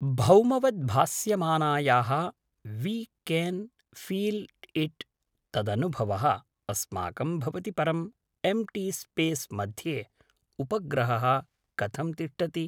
भौमवद् भास्यामानायाः we can feel it तदनुभवः अस्माकं भवति परं एम्टी स्पेस् मध्ये उपग्रहः कथं तिष्ठति